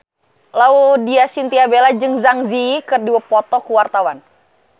Laudya Chintya Bella jeung Zang Zi Yi keur dipoto ku wartawan